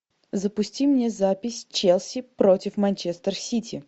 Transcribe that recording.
запусти мне запись челси против манчестер сити